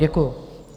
Děkuji.